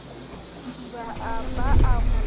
thiba a ba a mo